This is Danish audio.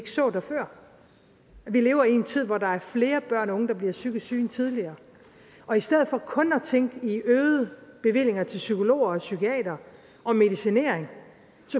lever i en tid hvor der er flere børn og unge der bliver psykisk syge end tidligere og i stedet for kun at tænke i øgede bevillinger til psykologer og psykiatere og medicinering